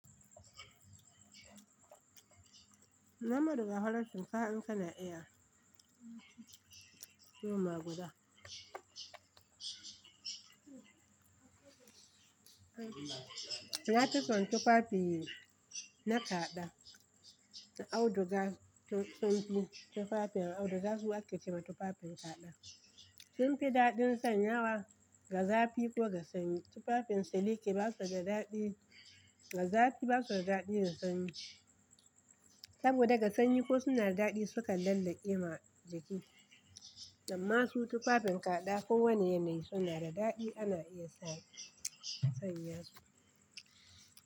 Muhammadu ga farashin kaya in kana iyawa, luma guda. Ya fi son tufafi na kaɗa, auduga tun tunki tufafin auduga su ake kema tufafin kaɗa. Sun fi daɗin sanyawa ga zafi ko ga sanyi. Tufafin siliki ba su da daɗi ga zafi, ba su da daɗi ga sanyi. Saboda ga sanyi ko suna da daɗi sukan lallakewa jiki. Amma su tufafin kaɗa ko wane yanayi suna da daɗi ana iya sanyawa su.